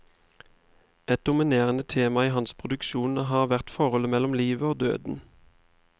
Et dominerende tema i hans produksjon har vært forholdet mellom livet og døden.